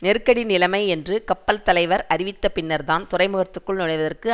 நெருக்கடி நிலைமை என்று கப்பல் தலைவர் அறிவித்தபின்னர்தான் துறைமுகத்திற்குள் நுழைவதற்கு